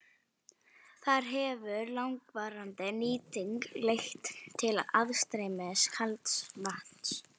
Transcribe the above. Þar hefur langvarandi nýting leitt til aðstreymis kalds vatns.